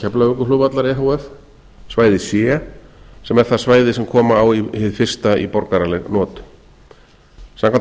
keflavíkurflugvallar efh svæði c sem er það svæði sem koma á hið fyrsta í borgaraleg not samkvæmt